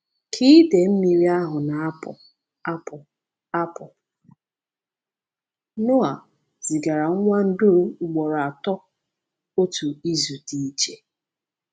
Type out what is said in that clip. Ka idei mmiri ahụ na-apụ apụ, apụ, Noa zigara nwa nduru ugboro atọ—otu izu dị iche.